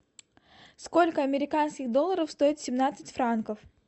сколько американских долларов стоят семнадцать франков